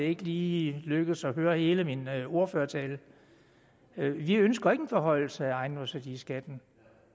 ikke lige lykkedes at høre hele min ordførertale vi ønsker ikke en forhøjelse af ejendomsværdiskatten